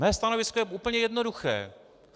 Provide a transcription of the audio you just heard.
Mé stanovisko je úplně jednoduché.